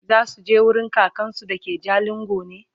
zasuje wurin kakansu da ke jalingo ne?